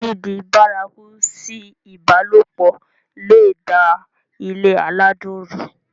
dídi bárakú sí ìbálòpọ̀ le è da ilé aládùn rú